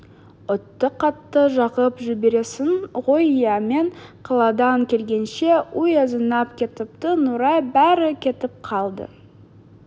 отты қатты жағып жібергенсің ғой иә мен қаладан келгенше үй азынап кетіпті нұрай бәрі кетіп қалды